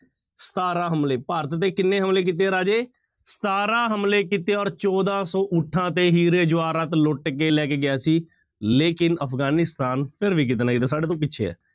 ਸਤਾਰਾਂ ਹਮਲੇ, ਭਾਰਤ ਤੇ ਕਿੰਨੇ ਹਮਲੇ ਕੀਤੇ ਹੈ ਰਾਜੇ? ਸਤਾਰਾਂ ਹਮਲੇ ਕੀਤੇ ਹੈ ਔਰ ਚੌਦਾਂ ਸੌ ਊਠਾਂ ਤੇ ਹੀਰੇ ਜਵਾਹਰਾਤ ਲੁੱਟ ਕੇ ਲੈ ਕੇ ਗਿਆ ਸੀ, ਲੇਕਿੰਨ ਅਫ਼ਗਾਨੀਸਤਾਨ ਫਿਰ ਵੀ ਕਿਤੇ ਨਾ ਕਿਤੇ ਸਾਡੇ ਤੋਂ ਪਿੱਛੇ ਹੈ।